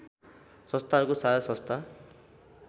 संस्थाहरूको साझा संस्था